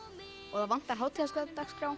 og það vantar